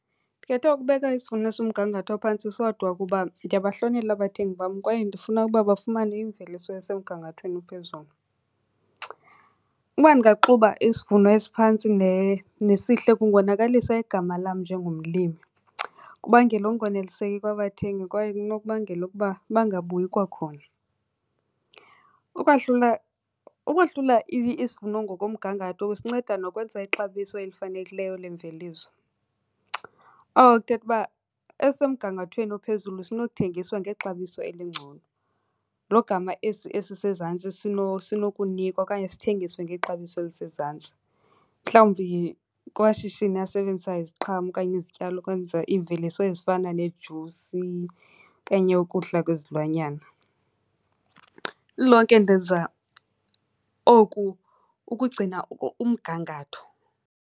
Ndikhethe ukubeka isivuno esikumgangatho ophantsi sodwa kuba ndiyabahlonela abathengi bam kwaye ndifuna uba bafumane imveliso esemgangathweni ophezulu. Uba ndingaxuba isivuno esiphantsi nesihle kungonakalisa igama lam njengomlimi, kubangele ukungoneliseki kwabathengi kwaye kunokubangela ukuba bangabuyi kwakhona. Ukwahlula, ukuhlula isivuno ngokomgangatho kusinceda nokwenza ixabiso elifanelekileyo lemveliso. Oko kuthetha uba esisemgangathweni ophezulu sinothengiswa ngexabiso elingcono, lo gama esi esisezantsi sinokunikwa okanye sithengiswe ngexabiso elisezantsi mhlawumbi kumashishini asebenzisa iziqhamo okanye izityalo ukwenza iimveliso ezifana neejusi okanye ukudla kwezilwanyana. Lilonke ndenza oku ukugcina umgangatho.